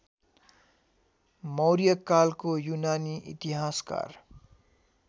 मौर्यकालको युनानी इतिहासकार